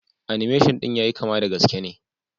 "Animation" din ya yi kama da gaske ne.